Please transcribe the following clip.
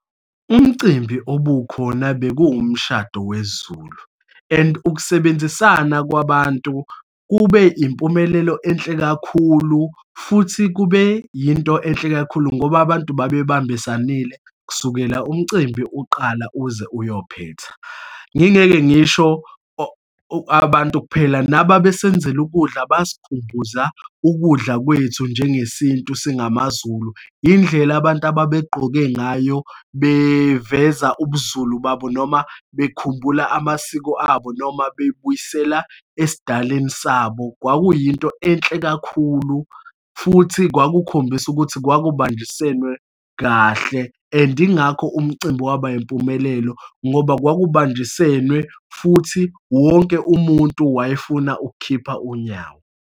Umcimbi obukhona bekuwumshado wesiZulu and ukusebenzisana kwabantu kube impumelelo enhle kakhulu, futhi kube yinto enhle kakhulu ngoba abantu babembisanile kusukela umcimbi uqala uze uyophetha. Ngingeke ngisho abantu kuphela nababesenzela ukudla basikhumbuza ukudla kwethu, njengesintu singamaZulu. Yindlela abantu ababeqgoke ngayo, beveza ubuZulu babo, noma bekhumbula amasiko abo, noma bebuyisela esidaleni sabo. Kwakuyinto enhle kakhulu futhi kwakukhombisa ukuthi kwakubanjiswene kahle and ingakho umcimbi waba yimpumelelo ngoba kwakubanjiswene, futhi wonke umuntu wayefuna ukukhipha unyawo.